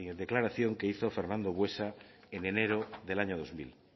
declaración que hizo fernando buesa en enero del año dos mil